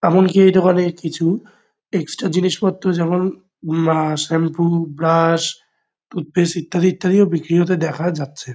এমনকি এটা মানে কিছু এক্সট্রা জিনিসপত্র যেমন- উম আ শ্যাম্পু ব্রাশ টুথপেস্ট ইত্যাদি ইত্যাদিও বিক্রি হতে দেখা যাচ্ছে।